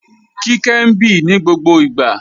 Kíkẹ́ ń bì ní gbogbo ìgbà